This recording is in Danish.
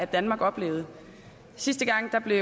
danmark oplevede sidste gang blev